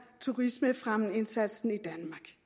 turismefremmende indsats